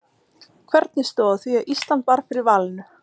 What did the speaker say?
Hvernig stóð á því að Ísland varð fyrir valinu?